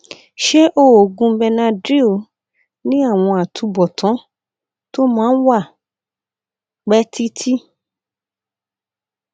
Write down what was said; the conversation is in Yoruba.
ṣé oògùn benadryl ní àwọn àtúbọtán tó máa ń wà pẹ títí